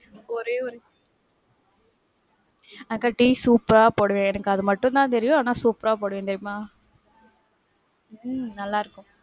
எனக்கு ஒரே ஒரு அக்கா டீ super ஆ போடுவேன்க்கா. எனக்கு அது மட்டும் தான் தெரியும் ஆனா, super ஆ போடுவேன். தெரியுமா? உம் நல்லா இருக்கும்.